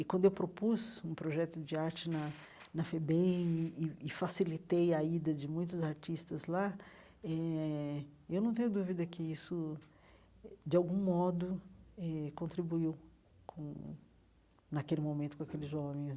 E, quando eu propus um projeto de arte na na FEBEM e e e facilitei a ida de muitos artistas lá eh, eu não tenho dúvida que isso, de algum modo eh, contribuiu com naquele momento com aqueles jovens.